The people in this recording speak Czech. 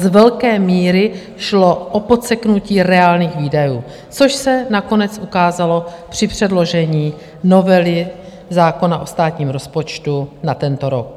Z velké míry šlo o podseknutí reálných výdajů, což se nakonec ukázalo při předložení novely zákona o státním rozpočtu na tento rok.